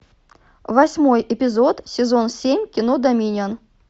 восьмой эпизод сезон семь кино доминион